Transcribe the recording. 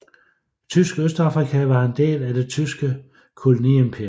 Tysk Østafrika var en del af Det tyske koloniimperium